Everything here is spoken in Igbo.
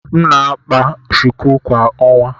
M na-akpa shuku kwa ọnwa.